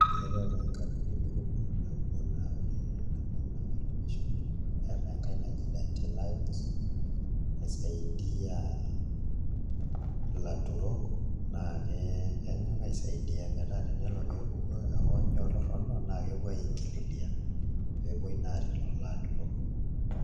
Etai taa nkampunini kumok naa ore nabo naa World Vision neetai enkai naji Dawn Alowa naisaidia ilaturok naa kenyok aisaidia metaa tenelo pee epuku hoonyo torrono naa kepuo aingililia pee epuoi naa aaret lelo aturok.